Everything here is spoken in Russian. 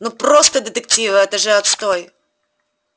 ну просто детективы это же отстой